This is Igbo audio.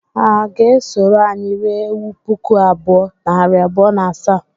Ha ga-esoro anyị rie ewu puku abụọ, nari abụọ na asaa?